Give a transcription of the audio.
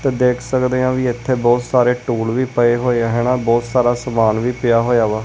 ਤੇ ਦੇਖ ਸਕਦੇ ਆ ਵੀ ਇੱਥੇ ਬਹੁਤ ਸਾਰੇ ਟੂਲ ਵੀ ਪਏ ਹੋਏ ਹੈ ਨਾ ਬਹੁਤ ਸਾਰਾ ਸਮਾਨ ਵੀ ਪਿਆ ਹੋਇਆ ਵਾ।